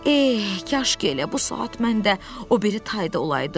Eh, kaş ki elə bu saat mən də o biri tayda olaydım.